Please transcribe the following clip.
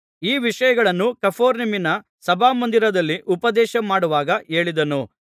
ಈ ವಿಷಯಗಳನ್ನು ಕಪೆರ್ನೌಮಿನ ಸಭಾಮಂದಿರದಲ್ಲಿ ಉಪದೇಶ ಮಾಡುವಾಗ ಹೇಳಿದನು